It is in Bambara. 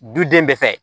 Duden bɛɛ fɛ